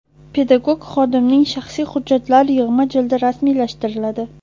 pedagog xodimning shaxsiy hujjatlar yig‘ma jildi rasmiylashtiriladi.